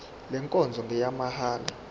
le nkonzo ngeyamahala